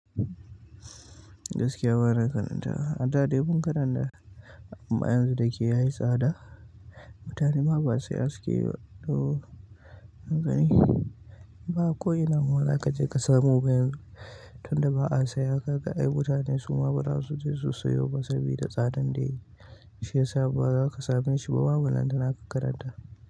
Gaskiya gwara karantawa, har ta ɗebo karannan amma yanzu dai ke yayi tsada, mutane ma ba saya sukeyi ba. Haka ne, ba ko ina ma za ka je ka samu ba yanzu tunda ba a saye haka ai mutane su ma ba za su je su sayo ba sabida tsadan da yayi shi ya sa ba za ka same shi ba. Ko wan nan da na karanta karanta.